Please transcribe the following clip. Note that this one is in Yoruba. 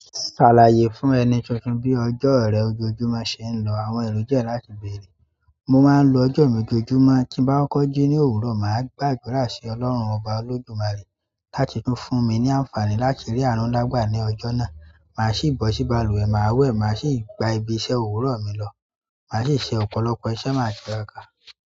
"Ṣàlàyé fún ẹni tuntun bí ọjọ́ rẹ ojoojúmọ́ ṣe ń lọ, àwọn èrò jẹ́ láti bèrè." Mo máa ń lo ọjọ́ mi ojoojúmọ́, tí bá kọ́ jí ní òwúrọ̀, màá gbàgbọ́rà sí Ọlọ́run ọba olódùnmarè láti tún fún mi ní àǹfààní láti rí àánú ńlá gbà ní ọjọ́ náà. Màá sì bọ̀ sí balùwẹ̀, màá wẹ̀, màá sì gba ibi iṣẹ́ òwúrọ̀ mi lọ. Màá sì ṣe ọ̀pọ̀lọpọ̀ iṣẹ́ máa jẹ.